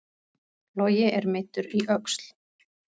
Logi er meiddur í öxl